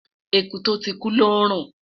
ẹkú to tí kú lò nrun